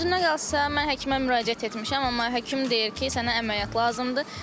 Düzünü qalsa mən həkimə müraciət etmişəm, amma həkim deyir ki, sənə əməliyyat lazımdır.